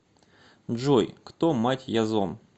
джой кто мать язон